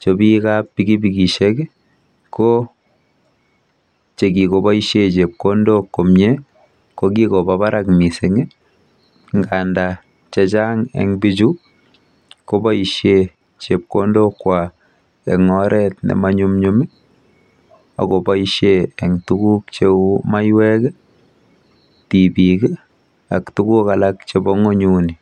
Chopikap pikipikishek ko chekikoboishe chepkondok komie ko kikopa barak mising nganda chechang eng bichu koboishe chepkondokwa eng oret nemanyumnyum akoboishe eng tuguk cheu maiwek, tipik ak tuguk alak chepo ng'unyuni.